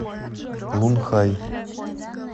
лунхай